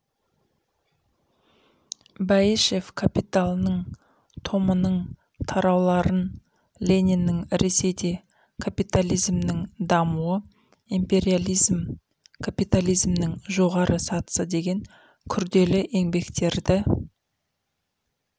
бәйішев капиталының томының тарауларын лениннің ресейде капитализмнің дамуы империализм капитализмнің жоғары сатысы деген күрделі еңбектерді